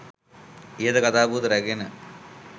ඉහත කතා පුවත රැ‍ඟෙන